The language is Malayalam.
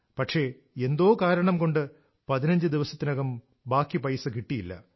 പക്ഷെ എന്തോ കാരണം കൊണ്ട് പതിനഞ്ച് ദിവസത്തിനകം ബാക്കി പൈസ കിട്ടിയില്ല